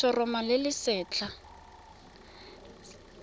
le letshoroma le le setlha